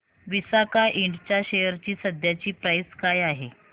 विसाका इंड च्या शेअर ची सध्याची प्राइस काय आहे